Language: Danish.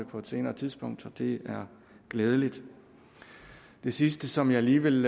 på et senere tidspunkt det er glædeligt det sidste som jeg lige vil